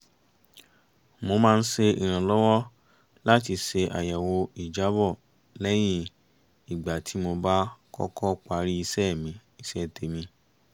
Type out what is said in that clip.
mo máa ń ṣe ìrànlọ́wọ́ láti ṣe àyẹ̀wò ìjábọ̀ lẹ́yìn ìgbà tí mo bá kọ́kọ́ parí iṣẹ́ tèmi